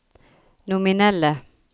nominelle